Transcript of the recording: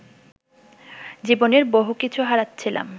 জীবনের বহু কিছু হারাচ্ছিলাম